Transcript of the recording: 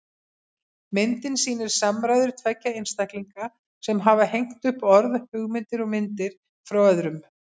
Myndin sýnir samræður tveggja einstaklinga sem hafa hengt upp orð, hugmyndir og myndir frá öðrum.